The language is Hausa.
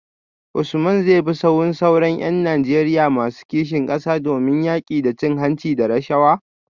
Usman zai bi sahun sauran ‘yan Najeriya masu kishin kasa domin yaki da cin hanci da rashawa?